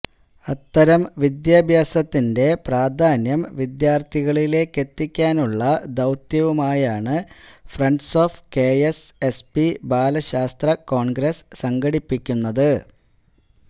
അത്തരം വിദ്യാഭ്യാസത്തിന്റെ പ്രാധാന്യം വിദ്യാർത്ഥികളിലേക്കെത്തിക്കാനുള്ള ദൌത്യവുമായാണ് friends of K S S P Balashastra congress സംഘടിപ്പിക്കുന്നത്